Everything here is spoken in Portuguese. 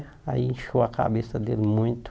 Aí inchou a cabeça dele muito.